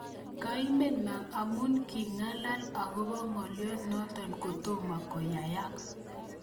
Keiman Mark amu kokingalal akopo ngoliot noto kotomo koyayak.